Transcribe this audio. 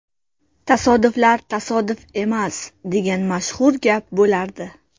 Tasodiflar tasodif emas, degan mashhur gap bo‘lardi.